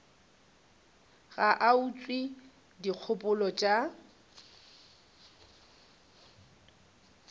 ga a utswe dikgopolo tša